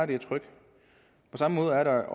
det tryk på samme måde er der